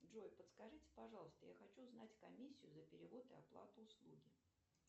джой подскажите пожалуйста я хочу узнать комиссию за перевод и оплату услуги